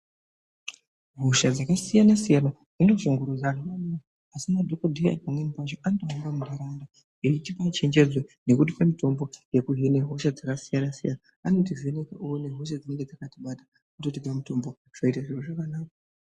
Hosha dzakasiyana-siyana dzinoshungurudza vantu maningi, asi madhogodheya pamweni pacho, anotenderera muntaraunda eitipe chenjedzo nekutipe mitombo yekuhine hosha dzakasiyana-siyana, anotivhenekawo oone hosha dzinenge dzakatibata ototipe mitombo, zvoite zvakanaka.